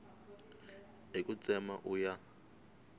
hi ku tsema u ya